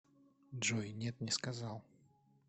джой нет не сказал